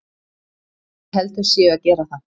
Ég held þau séu að gera það.